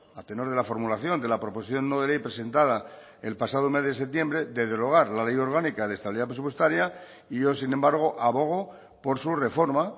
a tenor de la formulación de la proposición no de ley presentada el pasado mes de septiembre de derogar la ley orgánica de estabilidad presupuestaria y yo sin embargo abogo por su reforma